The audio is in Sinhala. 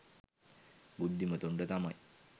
බුද්ධිමතුන්ට තමයි.